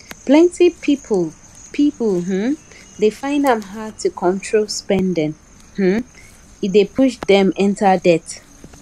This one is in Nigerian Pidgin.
plenty people people um dey find am hard to control spending um e dey push dem enter debt